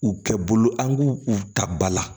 U kɛ bolo an k'u u ta ba la